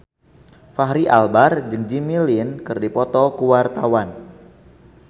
Fachri Albar jeung Jimmy Lin keur dipoto ku wartawan